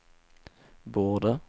borde